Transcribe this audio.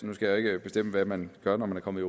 nu skal jeg jo ikke bestemme hvad man gør når man er kommet